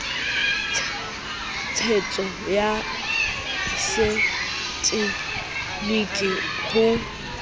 tshetso ya se tegeniki ho